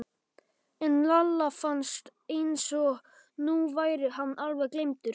En Lalla fannst eins og nú væri hann alveg gleymdur.